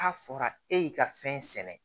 N'a fɔra e y'i ka fɛn sɛnɛ